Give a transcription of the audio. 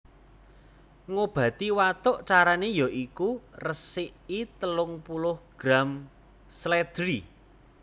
Ngobati watuk Carane ya iku resiki telung puluh gram slèdri